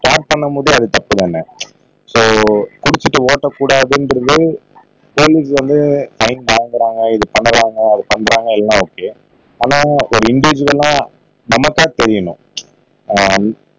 பண்ண முதல் அது தப்பு தானே சோ குடிச்சிட்டு ஓட்டக்கூடாதுங்குறது போலீஸ் வந்து ஃபைன் வாங்குராங்க இல்ல பன்னுறாங்க அத பண்றாங்க எல்லாம் ஓகே ஆனா ஒரு இண்டிவிஜூவலா நமக்கு தான் தெரியணும் ஆஹ்